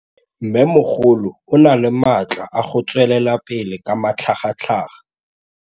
Mmêmogolo o na le matla a go tswelela pele ka matlhagatlhaga.